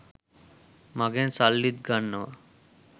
මගෙන් සල්ලිත් ගන්නවා.